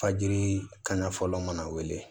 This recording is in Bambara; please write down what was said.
Fajiri kanya fɔlɔ mana wele